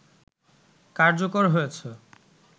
কার্যকর হয়েছে